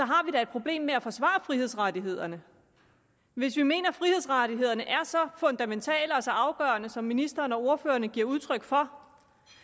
har vi da et problem med at forsvare frihedsrettighederne hvis vi mener at frihedsrettighederne er så fundamentale og så afgørende som ministeren og ordførerne giver udtryk for